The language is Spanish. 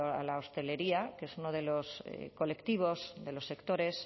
a la hostelería que es uno de los colectivos de los sectores